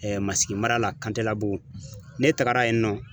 Masigi mara la , Kantelabugu, ne taara yen nɔ